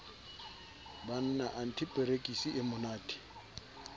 banna anthe perekisi e monate